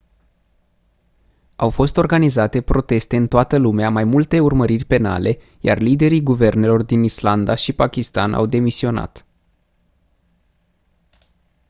au fost organizate proteste în toată lumea mai multe urmăriri penale iar liderii guvernelor din islanda și pakistan au demisionat